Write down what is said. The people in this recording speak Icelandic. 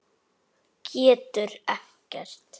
Getur ekkert.